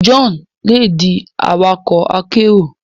Johnu le di awakọ akero